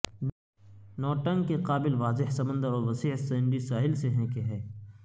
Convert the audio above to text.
noting کے قابل واضح سمندر اور وسیع سینڈی ساحل سے ہیں کہ ہے